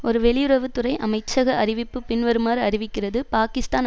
ஒரு வெளியுறவு துறை அமைச்சக அறிவிப்பு பின்வருமாறு அறிவிக்கிறது பாகிஸ்தான்